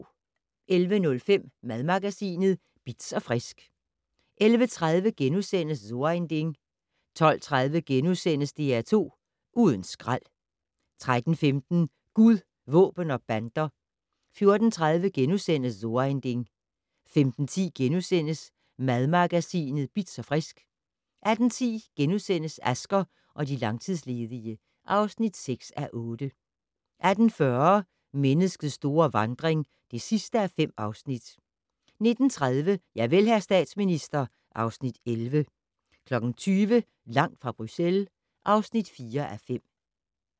11:05: Madmagasinet Bitz & Frisk 11:30: So ein Ding * 12:30: DR2 Uden skrald * 13:15: Gud, våben og bander 14:30: So ein Ding * 15:10: Madmagasinet Bitz & Frisk * 18:10: Asger og de langtidsledige (6:8)* 18:40: Menneskets store vandring (5:5) 19:30: Javel, hr. statsminister (Afs. 11) 20:00: Langt fra Bruxelles (4:5)